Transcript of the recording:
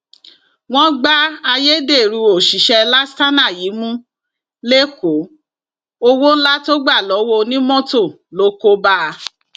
wọn gbá ayédèrú òṣìṣẹ lastana yìí mú lẹkọọ owó ńlá tó gbà lọwọ onímọtò ló kó bá a